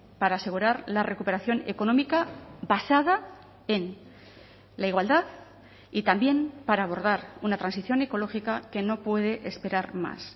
para asegurar la recuperación económica basada en la igualdad y también para abordar una transición ecológica que no puede esperar más